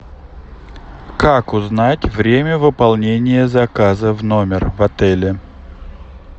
как узнать время выполнения заказа в номер в отеле